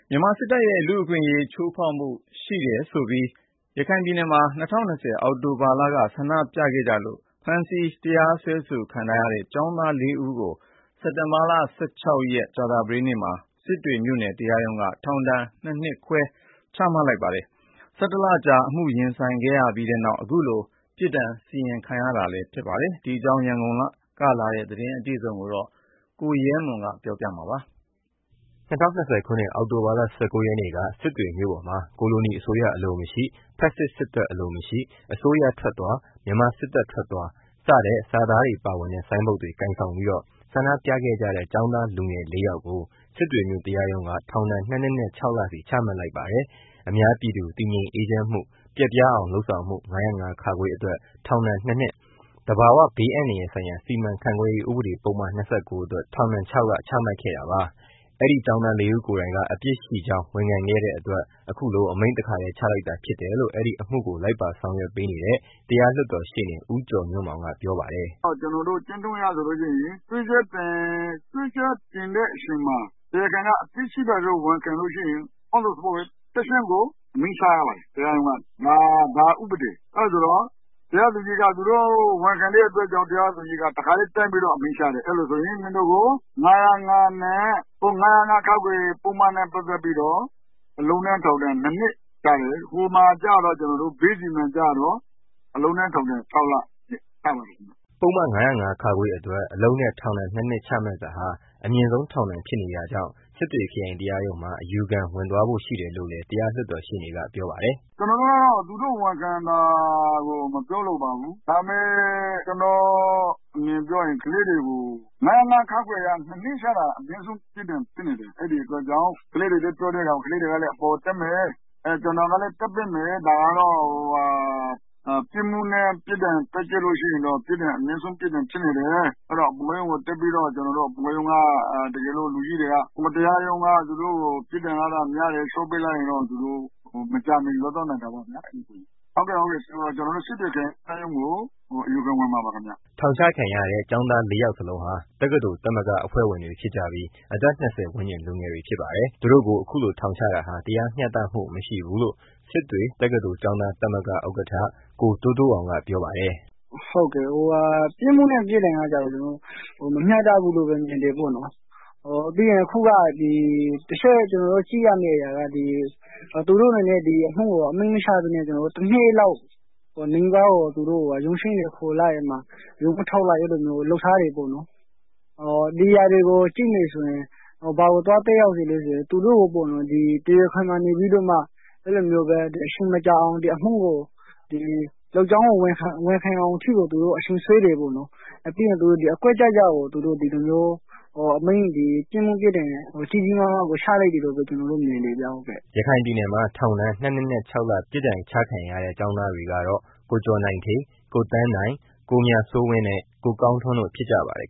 မြန်မာစစ်တပ်ရဲ့ လူ့အခွင့်အရေး ချိုးဖေါက်မှုရှိနေတယ်ဆိုပြီးတော့ ဆန္ဒပြခဲ့ကြတာကြောင့် ဖမ်းဆီးတရားစွဲဆိုခံထားရတဲ့ ကျောင်းသား လေးဦးကို ဒီကနေ့မှာပဲ စစ်တွေမြို့နယ်တရားရုံးက ထောင်ဒဏ် ၂ နှစ်နဲ့ ၆ လ ပြစ်ဒဏ်ချလိုက်ပါတယ်။ ၁၁ လကြာ အမှုရင်ဆိုင်နေရပြီး ဒီနေ့ စက်တင်ဘာ ၁၆ ရက်နေ့မှာ ပြစ်ဒဏ်စီရင်ခံရတာဖြစ်ပါတယ်။ ဒီအကြောင်းအပြည့်အစုံကိုတော့ ရန်ကုန်က လာတဲ့ သတင်းကို ကိုရဲမွန် က တင်ပြေပေးပါမယ်။ ၂၀၂၀ခုနှစ် အောက်တိုဘာလ ၁၉ ရက်နေ့က စစ်တွေမြို့ပေါ်မှာ “ကိုလိုနီအစိုးရအလိုမရှိ။ ဖက်စစ် စစ်တပ်အလိုမရှိ။ အစိုးရထွက်သွား။ မြန်မာစစ်တပ် ထွက်သွား” စတဲ့ စာသားတွေပါဝင်တဲ့ ဆိုင်းပုဒ်တွေ ကိုင်ဆိုင်ပြီးတော့ ဆန္ဒပြခဲ့ကြတဲ့ ကျောင်းသားလူငယ် ၄ ယောက်ကို စစ်တွေမြို့ တရားရုံးက ထောင်ဒဏ် ၂ နှစ်နဲ့ ၆ လစီ ချမှတ်လိုက်ပါတယ်။ အများပြည်သူတည်ငြိမ်အေးချမ်းမှု ပျက်ပြားအောင်လုပ်ဆောင်မှု ၅၀၅(ခ) အတွက် ထောင်ဒဏ် ၂ နှစ် ၊ သဘာဝဘေးအန္တရာယ်ဆိုင်ရာ စီမံခန့်ခွဲရေး ဥပဒေပုဒ်မ ၂၉ အတွက် ထောင်ဒဏ် ၆ လ ချမှတ်ခဲ့တာပါ။ အဲဒီကျောင်းသားလေးဦးကိုယ်တိုင်က အပြစ်ရှိကြောင်း ဝန်ခံတဲ့အတွက် ဒီကနေ့မှာပဲ အမိန့် တစ်ခါတည်း ချလိုက်တာ ဖြစ်တယ်လို့ အဲဒီအမှုကို လိုက်ပါဆောင်ရွက်နေတဲ့ တရား လွတ်တော်ရှေ့နေ ဦးကျော်ညွန့်မောင်က ပြောပါတယ်။ “ကျနော်တို့ ကျင့်ထုံးအရ ဆိုလို့ရှိရင် စွဲချက်တင်တဲ့ အချိန်မှာ တရားခံက အပြစ်ရှိပါတယ်လို့ ဝင်ခံလို့ရှိရင် ချက်ချင်းကို အမိန့်ချရပါတယ်။ ဒါဥပဒေ အဲတာဆိုတော့ တရားသူကြီးက သူတို့ ဝင်ခံတဲ့ အတွက် ကြောင့် တရားသူကြီးက တစ်ခါတည်း တန်းပြီးတော့ အမိန့်ချတယ်။ အဲလိုဆိုရင် မင်းတို့ကို ၅၀၅(ခ) ပုဒ်မနဲ့ ပတ်သတ်ပြီး အလုပ်နဲ့ ထောင်ဒဏ် ၂နှစ်ချတယ်။ ဘေးစီမံကျတော့ အလုပ်နဲ့ ထောင်ဒဏ် ၆ လချပါတယ်ခင်မျာ။” ပုဒ်မ ၅၀၅ (ခ) အတွက် အလုပ်နဲ့ ထောင်ဒဏ် ၂ နှစ်ချမှတ်တာဟာ အမြင့်ဆုံးထောင်ဒဏ်ဖြစ်နေတဲ့တာကြောင့် စစ်တွေခရိုင်တရားရုံးမှာ အယူခံဝင်သွားဖို့ရှိတယ်လို့လည်း တရားလွှတ်တော်ရှေ့နေက ပြောပါတယ်။ “ ကျနော်တို့ကတော့ သူတို့ ဝန်ခံတာကို မပြောလိုပါဘူး။ ကျနော့အမြင်ပြောရရင် ကလေး တွေကို ၅၀၅ (ခ) အရ ၂ နှစ်ချလိုက်တာက အမြင့်ဆုံးပြစ်ဒဏ်ဖြစ်နေတဲ့ အတွက်ကြောင့် ကလေးတွေကလည်းအပေါ်ကို တက်မယ်။ ကျနော်ကလည်း တက်ပေးမယ် ။ ဒါကတော့ ပြစ်မှုနဲ့ ပြစ်ဒဏ် တွက်ကြည့်ရင်တော့ အမြင့်ဆုံးပြစ်ဒဏ်ဖြစ်နေတယ်။ အပေါ်က တရားရုံးက သူတို့ကို ပြစ်ဒဏ်က များတယ် လျော့ပေးလိုက်ရင်တော့ သူတို့ မကြာမှီ လွတ်သွားနိုင်တာပေါ့ဗျာ။ ဟုတ်ကဲ့ ကျနော်တို့ စစ်တွေ ခရိုင်တရားရုံးကို အယူခံဝင်မှာပါခင်မျာ။” ထောင်ချခံရတဲ့ ကျောင်းသား ၄ ယောက်လုံးဟာ တက္ကသိုလ်သမဂ္ဂအဖွဲ့ဝင်တွေဖြစ်ကြပြီး အသက် ၂၀ ဝန်းကျင် လူငယ်တွေဖြစ်ပါတယ်။ သူတို့ကို ခုလို ထောင်ချတာ တရားမ ျှတမှု မရှိဘူးလို့ စစ်တွေတက္ကသိုလ်ကျောင်းသားသမဂ္ဂဥက္ကဌ ကိုတိုးတိုးအောင် က ပြောပါတယ်။ “ပြစ်မှုနဲ့ ပြစ်ဒဏ်ကတော့ မမျှတဘူးလို့ မြင်တယ်ပေါ့နော်။ ကျနော်တို့ တစ်ချက်ကြည့်ရမယ့် ဟာက သူတို့က ဒီအမှုကို အမိန့်မချပဲနဲ့ တစ်နှစ်လောက် ရုံးချိန်းတွေ ခေါ်လိုက် ရုံးမထုတ်လိုက် အဲလိုမျိုးလုပ်ထားတယ်ပေါ့နော်။ ဒါက ဘာကို သက်ရောက်စေလည်းဆိုတော့ သူတို့ကိုနေပြီးတော့ တရားခွင်မှာ လုပ်ကြောင်းကို ဝန်ခံအောင်အထိ အချိန်ဆွဲတယ်ပေါ့နော်။ ပြီးရင် သူတို့ ဒီလိုအကွက်ဆင်ပြီး ပြစ်မှုပြစ်ဒဏ် ကြီးကြီးမားမား ချလိုက်တယ်လို့ မြင်ပါတယ်ဟုတ်။” ရခိုင်ပြည်နယ်မှာ ထောင်ဒဏ် ၂ နှစ်နဲ့ ၆ လပြစ်ဒဏ်ချခံရတဲ့ ကျောင်းသားတွေကတော့ ကိုကျော်နိုင်ဋ္ဌေး၊ ကိုသန်းနိုင်၊ ကိုမြစိုးဝင်း၊ ကိုကောင်းထွန်းတို့ ဖြစ်ကြပါတယ်